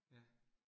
Ja